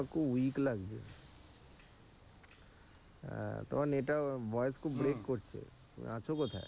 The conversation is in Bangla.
খুব weak লাগছে। আহ তোমার network voice খুব break করছে। আছো কোথায়?